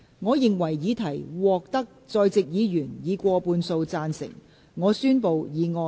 我認為議題獲得在席議員以過半數贊成。